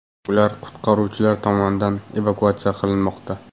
Ular qutqaruvchilar tomonidan evakuatsiya qilinmoqda.